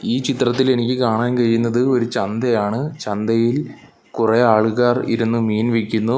ഈ ചിത്രത്തിൽ എനിക്ക് കാണാൻ കഴിയുന്നത് ഒരു ചന്തയാണ് ചന്തയിൽ കൊറെ ആളുകാർ ഇരുന്ന് മീൻ വിക്കുന്നു.